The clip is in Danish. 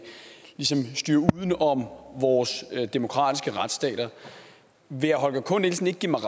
styre uden om vores demokratiske retsstater vil herre holger k nielsen ikke give mig